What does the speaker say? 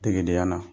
Degedenya la